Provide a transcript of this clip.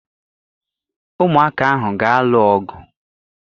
Ụmụaka ahụ ga-alụ ọgụ.